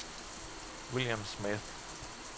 William Smith